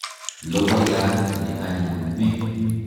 Logoiyat ne anyiny ni.